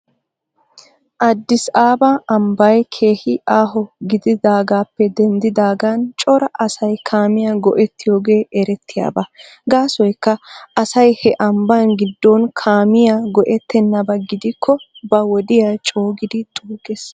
Addis abab ambbay keehi aaho gididaagaappe denddidaagan cora asay kaamiyaa go'ettiyoogee erettiyaaba. Gaasoykka asay he ambba giddon kaamiyaa go'ettenaba gidikko ba wodiyaa coogidi xuugges.